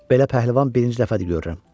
Belə pəhləvan birinci dəfədir görürəm.